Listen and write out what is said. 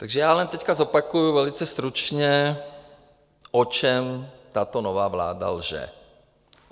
Takže já jen teď zopakuji velice stručně, o čem tato nová vláda lže.